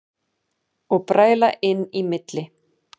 Og bræla inn í milli.